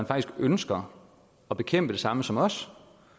faktisk ønsker at bekæmpe det samme som os